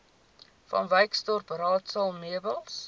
vanwyksdorp raadsaal meubels